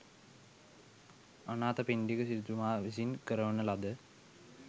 අනාථපිණ්ඩික සිටුතුමා විසින් කරවන ලද